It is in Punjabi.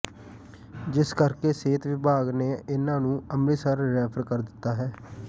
ਜਿਸ ਕਰਕੇ ਸਿਹਤ ਵਿਭਾਗ ਨੇ ਇਨ੍ਹਾਂ ਨੂੰ ਅਮਿ੍ਤਸਰ ਰੈਫਰ ਕਰ ਦਿੱਤਾ ਹੈ